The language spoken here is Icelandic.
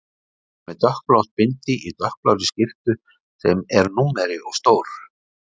Hún er með dökkblátt bindi í dökkblárri skyrtu sem er númeri of stór.